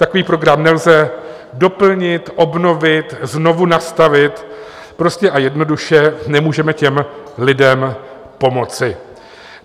Takový program nelze doplnit, obnovit, znovu nastavit, prostě a jednoduše nemůžeme těm lidem pomoci.